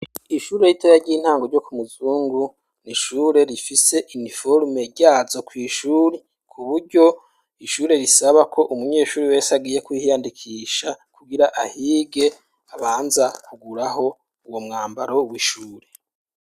Ishure ritoya ry'intango ryo ku muzungu, ni ishure rifise iniforome ryazo kw'ishure, ku buryo ishure risabako umunyeshure wese agiye kuhiyandikisha kugira ahige, abanza kuguraho uwo mwambaro w'ishure.